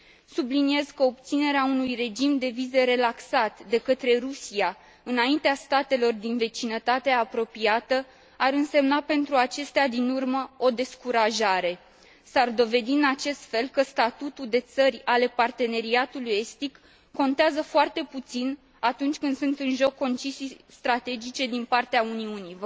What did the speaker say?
Subliniez că obținerea unui regim de vize relaxat de către Rusia înaintea statelor din vecinătatea apropiată ar însemna pentru acestea din urmă o descurajare. S ar dovedi, în acest fel, că statutul de țări ale Parteneriatului estic contează foarte puțin atunci când sunt în joc concesii strategice din partea Uniunii.